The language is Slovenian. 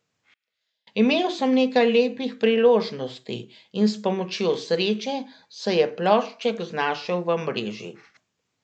Imel sem nekaj lepih priložnosti in s pomočjo sreče se je plošček znašel v mreži.